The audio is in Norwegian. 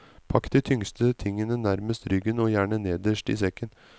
Pakk de tyngste tingene nærmest ryggen, og gjerne nederst i sekken.